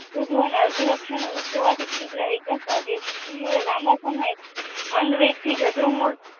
અલ્પ લક્ષોની શ્રુદ્ધ રહીકા સ્થાપે છે શિશુએ લાંબા સમય મન વ્યક્તિ શ્રદ્ધૃમાંથી